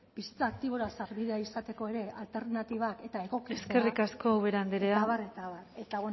bizitza aktibora sarbidea izateko ere alternatibak eta eskerrik asko ubera andrea eta abar eta abar eta